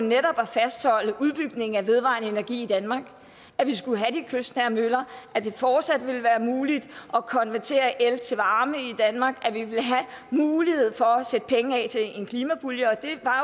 netop at fastholde udbygningen af vedvarende energi i danmark at vi skulle have de kystnære møller at det fortsat ville være muligt at konvertere el til varme i danmark at vi ville have mulighed for at sætte penge af til en klimapulje og det var